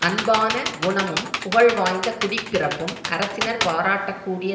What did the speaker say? அன்பான குணமும் புகழ் வாய்ந்த குடிப்பிறப்பும் அரசினர் பாராட்டக்கூடிய